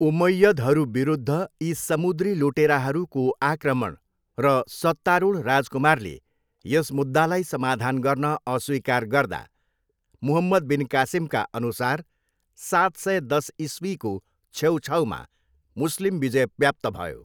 उमय्यदहरूविरुद्ध यी समुद्री लुटेराहरूको आक्रमण, र सत्तारूढ राजकुमारले यस मुद्दालाई समाधान गर्न अस्वीकार गर्दा, मुहम्मद बिन कासिमका अनुसार सात सय दस इस्वीको छेउछाउमा मुस्लिम विजय व्याप्त भयो।